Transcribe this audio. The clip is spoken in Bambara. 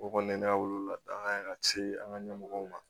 O kɔni ne ka wolola danga ye ka se an ka ɲɛmɔgɔw ma